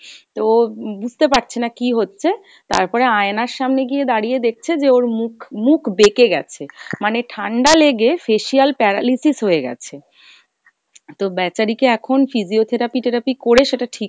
তো ও বুঝতে পারছে না কী হচ্ছে, তারপরে আয়নার সামনে গিয়ে দাঁড়িয়ে দেখছে যে ওর মুখ মুখ বেকে গেছে, মানে ঠাণ্ডা লেগে facial paralysis হয়ে গেছে। তো ব্যাচারি কে এখন physiotherapy তেরাপি করে সেটা ঠিক